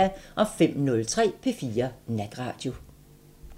05:03: P4 Natradio